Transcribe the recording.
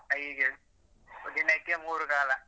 ಹೀಗೆ ದಿನಕ್ಕೆ ಮೂರು ಕಾಲ.